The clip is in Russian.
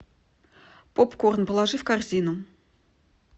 попкорн положи в корзину